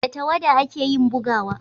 da tawada a ke yin bugawa